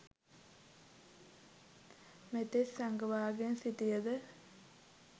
මෙතෙක් සඟවාගෙන සිටියද